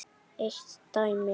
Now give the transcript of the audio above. Eitt dæmi.